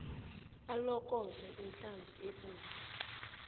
alokoze inhlansi ebomvu